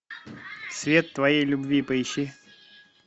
свет твоей любви поищи